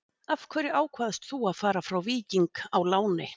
Af hverju ákvaðst þú að fara frá Víking á láni?